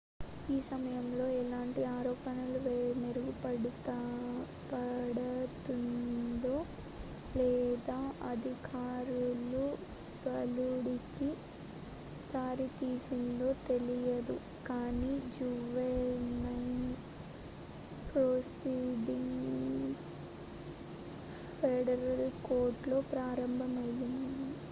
ఈ సమయంలో ఎలాంటి ఆరోపణలు మోపబడతందో లేదా అధికారులు బాలుడికి దారి తీసిందో తెలియదు కానీ జువెనైల్ ప్రొసీడింగ్స్ ఫెడరల్ కోర్టులో ప్రారంభమయ్యాయి